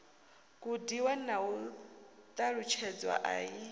gudiwa na u ṱalutshedzwa i